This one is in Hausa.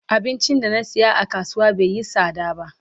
Abincin da na siya a kasuwa bai yi sada ba.